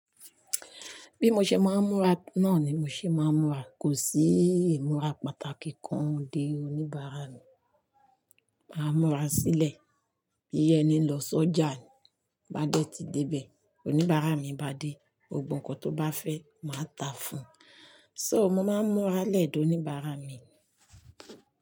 Bí mo ṣe máa ń múra náà ni mo ṣe máa ń múra. Kò sí ìmúra pàtàkì kan dé oníbàárà mi. Màá múra sílẹ̀, bii ení lọ sọ́jà ni, bá dẹ́ ti débẹ̀, oníbàárà mi bá dé, gbogbo nkan tó bá fẹ́ máa tàá fún un. So mo máa ń múra lẹ̀ de oníbàárà mi.